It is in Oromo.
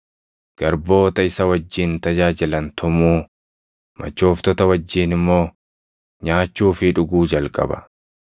garboota isa wajjin tajaajilan tumuu, machooftota wajjin immoo nyaachuu fi dhuguu jalqaba.